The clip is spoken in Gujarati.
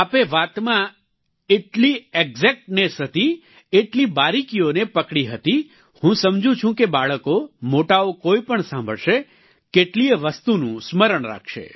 આપે વાતમાં એટલી એક્ઝેક્ટનેસ હતી એટલી બારિકીઓને પકડી હતી હું સમજું છું કે બાળકો મોટાઓ કોઈપણ સાંભળશે કેટલીયે વસ્તુનું સ્મરણ રાખશે